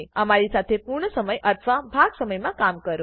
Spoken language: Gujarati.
અમારી સાથે પૂર્ણ સમય અથવા ભાગ સમયમાં કામ કરો